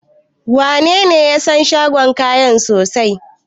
Wanene ya san shagon kayan sosai?